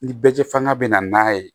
Ni bɛɛ fanga bɛ na n'a ye